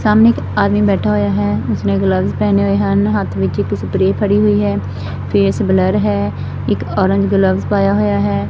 ਸਾਹਮਣੇ ਇੱਕ ਆਦਮੀ ਬੈਠਾ ਹੋਇਆ ਹੈ ਉਸਨੇ ਗਲਵਜ ਪਹਿਨੇ ਹੋਏ ਹਨ ਹੱਥ ਵਿੱਚ ਇੱਕ ਸਪਰੇ ਫੜੀ ਹੋਈ ਹੈ ਫੇਸ ਬਲਰ ਹੈ ਇੱਕ ਔਰੰਜ ਗਲਵਜ ਪਾਇਆ ਹੋਇਆ ਹੈ।